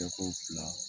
Tɛko fila